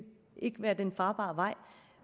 være den farbare vej